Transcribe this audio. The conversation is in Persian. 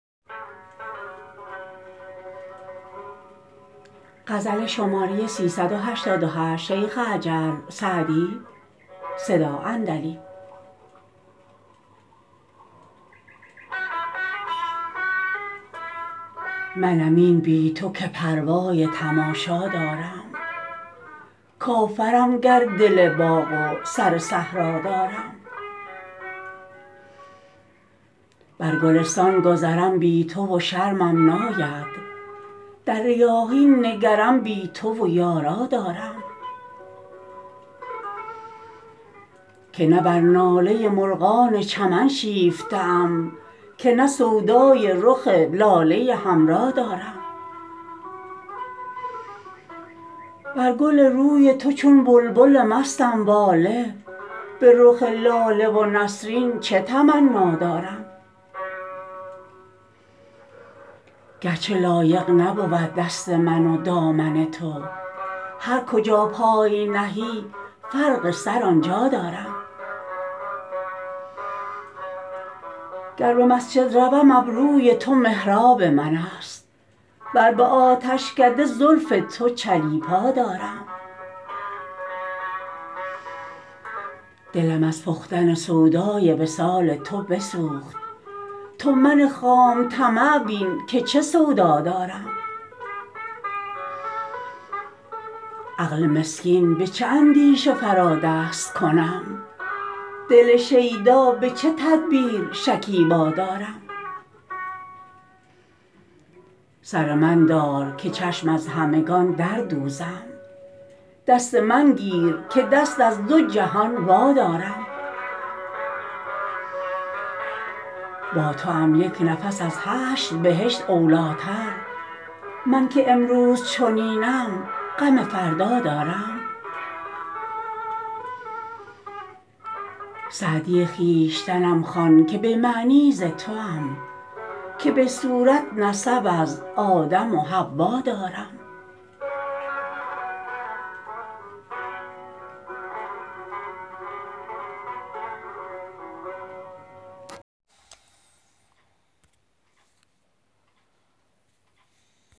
منم این بی تو که پروای تماشا دارم کافرم گر دل باغ و سر صحرا دارم بر گلستان گذرم بی تو و شرمم ناید در ریاحین نگرم بی تو و یارا دارم که نه بر ناله مرغان چمن شیفته ام که نه سودای رخ لاله حمرا دارم بر گل روی تو چون بلبل مستم واله به رخ لاله و نسرین چه تمنا دارم گر چه لایق نبود دست من و دامن تو هر کجا پای نهی فرق سر آن جا دارم گر به مسجد روم ابروی تو محراب من است ور به آتشکده زلف تو چلیپا دارم دلم از پختن سودای وصال تو بسوخت تو من خام طمع بین که چه سودا دارم عقل مسکین به چه اندیشه فرا دست کنم دل شیدا به چه تدبیر شکیبا دارم سر من دار که چشم از همگان در دوزم دست من گیر که دست از دو جهان وادارم با توام یک نفس از هشت بهشت اولی تر من که امروز چنینم غم فردا دارم سعدی خویشتنم خوان که به معنی ز توام که به صورت نسب از آدم و حوا دارم